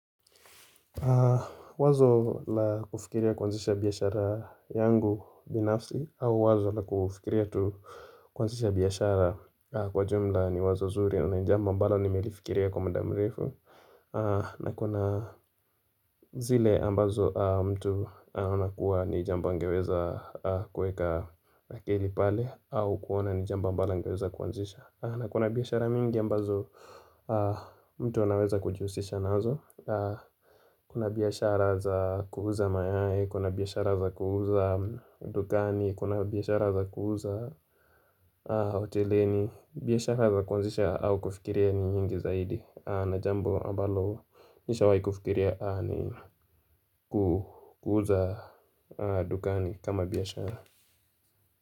Wazo la kufikiria kwanzisha biashara yangu binafsi au wazo la kufikiria tu kwanzisha biashara kwa jumla ni wazo nzuri na ni jambo ambalo nimelifikiria kwa mda mrefu na kuna zile ambazo mtu anakuwa ni jambo angeweza kueka akili pale au kuona ni jambo ambalo angeweza kwanzisha na kuna biashara mingi ambazo mtu wanaweza kujiusisha nazo Kuna biashara za kuuza mayai, kuna biashara za kuuza dukani, kuna biashara za kuuza hoteleni biashara za kwanzisha au kufikiria ni nyingi zaidi na jambo ambalo nisha wahi kufikiria ni kuuza dukani kama biashara.